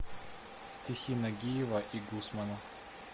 стихи нагиева и гусмана